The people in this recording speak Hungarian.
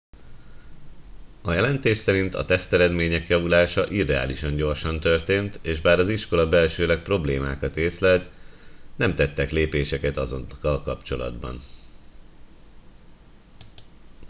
a jelentés szerint a teszteredmények javulása irreálisan gyorsan történt és bár az iskola belsőleg problémákat észlelt nem tettek lépéseket azokkal kapcsolatban